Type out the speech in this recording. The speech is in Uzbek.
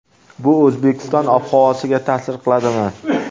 Bu O‘zbekiston ob-havosiga ta’sir qiladimi?